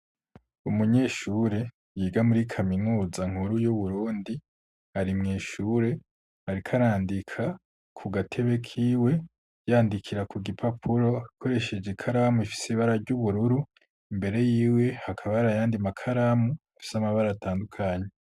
Umunyeshure yiga muri kaminuza nkuru y'uburundi ari mw'ishure ariko arandika ku gatebe kiwe yandikira ku gipapuro akoresheje ikaramu ifise ibara ry'ubururu imbere yiwe hakaba arayandi makaramu afise amabara atandukanye.